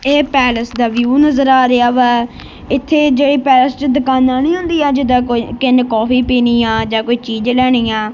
ਇਹ ਪੈਲਸ ਦਾ ਵਿਊ ਨਜ਼ਰ ਆ ਰਿਹਾ ਵੈ ਇਥੇ ਜਿਹੜੀ ਪੈਲਸ ਚ ਦੁਕਾਨਾਂ ਨੀ ਹੁੰਦੀਆਂ ਜਿਦਾ ਕੋਈ ਕਿਸੇ ਨੇ ਕਾਫੀ ਪੀਣੀ ਆ ਜਾਂ ਕੋਈ ਚੀਜ਼ ਲੈਣੀ ਆ-